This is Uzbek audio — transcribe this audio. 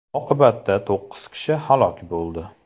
Oqibatda to‘qqiz kishi halok bo‘ldi.